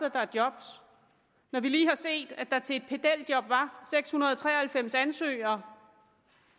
at der er job når vi lige har set at der til et pedeljob var seks hundrede og tre og halvfems ansøgere